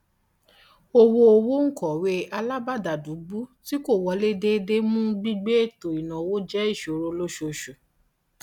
owó owó òǹkọwé alábàádàlúgbùú tí kò wọlé déédéé mú gbígbé ètò ìnáwó jẹ ìṣòro lóṣooṣù